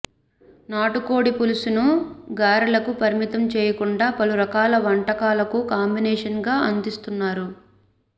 నాటుకోడి పులుసును గారెలకే పరిమితం చేయకుండా పలు రకాల వంటకాలకు కాంబినేషన్గా అందిస్తున్నారు